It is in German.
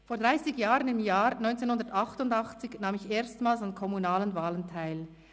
«Vor 30 Jahren, im Jahr 988, nahm ich erstmals an kommunalen Wahlen teil.